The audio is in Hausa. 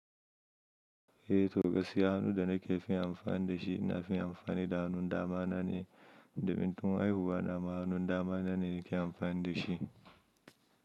Eh to gaskiya hannun da nake fin amfani da shi, ina fin amfani da hannun dama na ne domin tun haihuwa na ma hannun dama na ne nake amfani da shi.